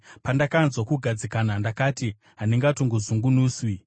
Pandakanzwa kugadzikana, ndakati, “Handingatongozungunuswi.”